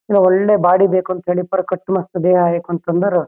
ಒಳ್ಳೆ ಬಾಡಿ ಬೇಕ್ ಅಂತೇಳಿ ಕಟ್ ಮಸ್ತ್ ದೇಹ ಆಯಿ ಕುತ್ಕಂಬರ್.